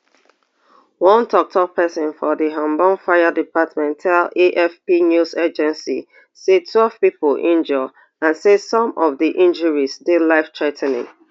one toktok pesin for di hamburg fire department tell afp news agency say twelve pipo injure and say some of di injuries dey lifethrea ten ing